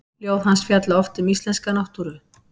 Ljóð hans fjalla oft um íslenska náttúru.